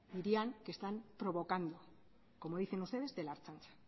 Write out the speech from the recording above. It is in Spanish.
dirían que están provocando como dicen ustedes de la ertzaintza